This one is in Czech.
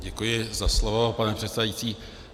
Děkuji za slovo, pane předsedající.